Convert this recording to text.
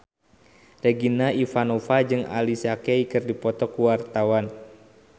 Regina Ivanova jeung Alicia Keys keur dipoto ku wartawan